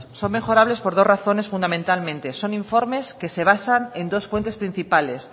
son mejorables por dos razones fundamentalmente son informes que se basan en dos fuentes principales